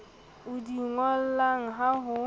o di ngolang ha o